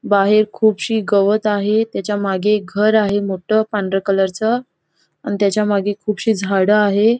बाहेर खुपशी गवत आहे. त्याच्या मागे एक घर आहे मोठं पांढर कलरचं . अन त्याच्यामागे खुपशी झाड आहे.